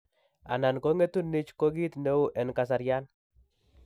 Anan, ko ng'etu NICH ko kit neu en kasaryan